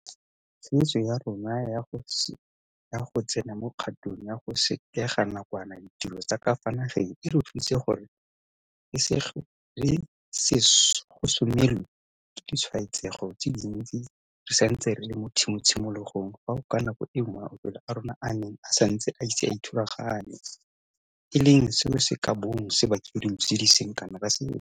Tshwetso ya rona ya go tsena mo kgatong ya go sekeganakwana ditiro tsa ka fa nageng e re thusitse gore re se gosomelwe ke ditshwaetsego tse dintsi re santse re le mo tshimologong fao ka nako eo maokelo a rona a neng a santse a ise a ithulaganye, e leng seo se ka bong se bakile dintsho tse di seng kana ka sepe.